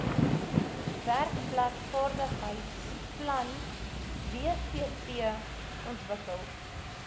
werkplekvaardigheidsplan wvp ontwikkel